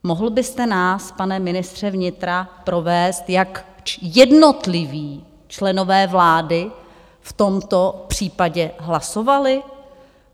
Mohl byste nás, pane ministře vnitra, provést, jak jednotliví členové vlády v tomto případě hlasovali?